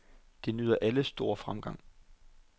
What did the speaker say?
De nyder alle stor fremgang.